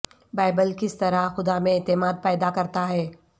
Bible کس طرح خدا میں اعتماد پیدا کرتا ہے